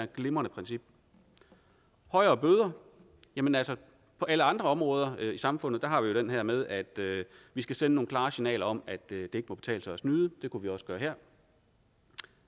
glimrende princip højere bøder jamen altså på alle andre områder i samfundet har vi jo den her med at vi skal sende nogle klare signaler om at det ikke må kunne betale sig at snyde det kunne vi også gøre her